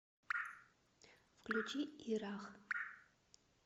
включи ирах